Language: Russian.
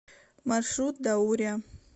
маршрут даурия